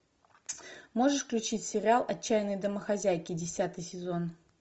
можешь включить сериал отчаянные домохозяйки десятый сезон